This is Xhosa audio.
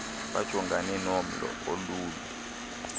bajongane nomlo ololu